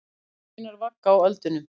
Hendur mínar vagga á öldunum.